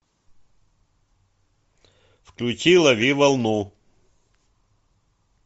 включи лови волну